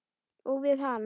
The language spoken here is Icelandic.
Og við hann.